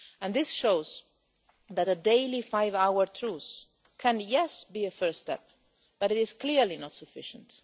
This shows that a daily five-hour truce can be a first step, but it is clearly not sufficient.